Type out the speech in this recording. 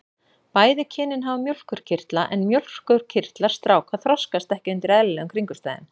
Bæði kynin hafa mjólkurkirtla en mjólkurkirtlar stráka þroskast ekki undir eðlilegum kringumstæðum.